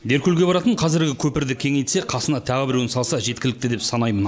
деркөлге баратын қазіргі көпірді кеңейтсе қасына тағы біреуін салса жеткілікті деп санаймын